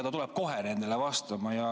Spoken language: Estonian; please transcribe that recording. Ta tuleb kohe nendele vastama.